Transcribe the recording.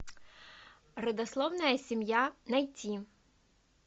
родословная семья найти